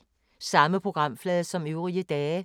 Samme programflade som øvrige dage